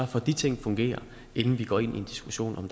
for at de ting fungerer inden vi går ind i en diskussion om